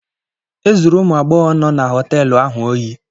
Ezuru ụmụ agbọghọ nọ na họteelu ahụ ohi.